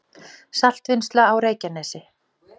Saltvinnsla á Reykjanesi